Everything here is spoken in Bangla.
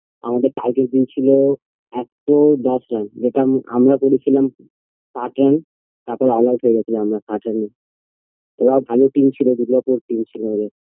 আমাদের target দিয়ে ছিল একশো দশ রান যেটা আম আমরা করেছিলাম সাট রান তারপর গেছিলাম আমরা ওরা bhalo team ছিলো দূর্গাপুর তিন শূন্য তে